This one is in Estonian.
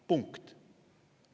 " Punkt.